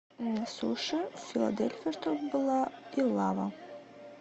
суши филадельфия чтобы была и лава